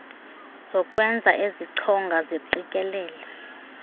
zokwenza ezichonga ziqikelele